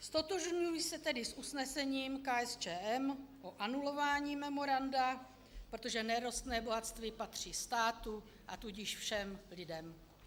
Ztotožňuji se tedy s usnesením KSČM o anulování memoranda, protože nerostné bohatství patří státu, a tudíž všem lidem.